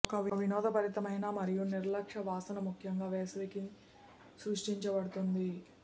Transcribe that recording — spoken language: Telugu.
ఒక వినోదభరితమైన మరియు నిర్లక్ష్య వాసన ముఖ్యంగా వేసవికి సృష్టించబడుతుంది